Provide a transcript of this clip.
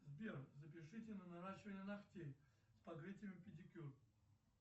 сбер запишите на наращивание ногтей с покрытием педикюр